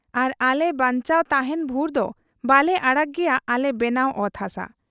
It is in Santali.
ᱟᱨ ᱟᱞᱮ ᱵᱟᱧᱪᱟᱣ ᱛᱟᱦᱮᱸᱱ ᱵᱷᱩᱨᱫᱚ ᱵᱟᱞᱮ ᱟᱲᱟᱜᱽ ᱜᱮᱭᱟ ᱟᱞᱮ ᱵᱮᱱᱟᱣ ᱚᱛ ᱦᱟᱥᱟ ᱾